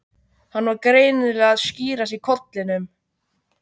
Hann var greinilega að skýrast í kollinum.